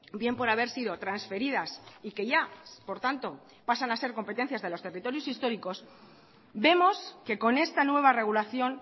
bien por haber sido transferidas y que ya por tanto pasan a ser competencias de los territorios históricos vemos que con esta nueva regulación